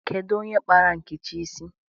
Kedu onye kpara Nkechi isi?